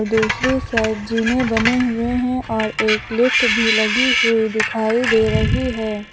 दूसरी साइड जीने बने हुए हैं और एक लिफ्ट भी लगी हुई दिखाई दे रही है।